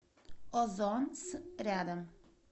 озон с рядом